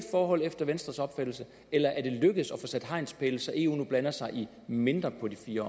forhold efter venstres opfattelse eller er det lykkedes at få sat hegnspæle så eu nu blander sig i mindre på de fire